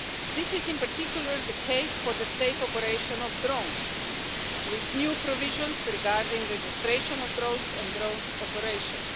This is in particular the case for the safe operation of drones, with new provisions regarding registration of drones and drones' operations.